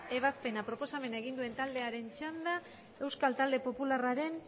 ebazpena proposamena egin duen taldearen txanda euskal talde popularraren